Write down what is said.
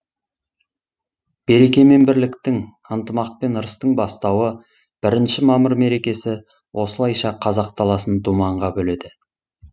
береке мен бірліктің ынтымақ пен ырыстың бастауы бірінші мамыр мерекесі осылайша қазақ даласын думанға бөледі